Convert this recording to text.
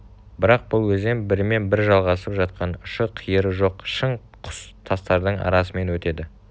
бірақ бұл өзен бірімен бірі жалғасып жатқан ұшы-қиыры жоқ шың құз тастардың арасымен өтеді